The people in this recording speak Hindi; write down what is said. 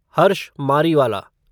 हर्ष मारीवाला